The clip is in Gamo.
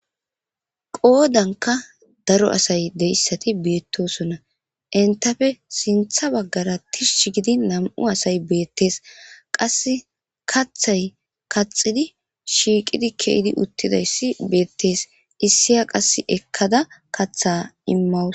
Qoodanka daro asay dessati beettosona intafe sintha baggara tishsh gidi nam'u asay beettees qas kathay kaxidi shiiqidi keidi uttidayssi beettees issiya qasse ekkada katha immawus